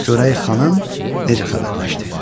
Görək xanım necə xəbərləşdi.